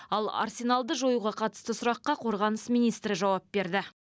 ал арсеналды жоюға қатысты сұраққа қорғаныс министрі жауап берді